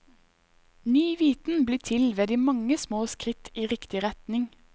Ny viten blir til ved de mange små skritt i riktig retning.